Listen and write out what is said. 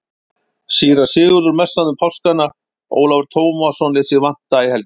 Síra Sigurður messaði um páskana, Ólafur Tómasson lét sig vanta í helgihaldið.